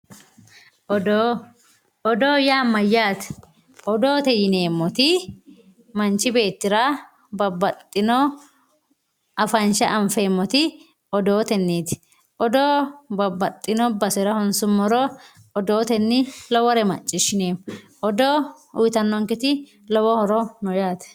Oddo oddo ya mayate oddote yinemoti manchi betira babaxino afansha anfemoti oddoteniti oddo babaxino basera honsumoro oddotenni lowore macishinemo oddo uyitanonketti lowo horo no yate